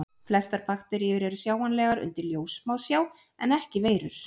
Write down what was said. Flestar bakteríur eru sjáanlegar undir ljóssmásjá en ekki veirur.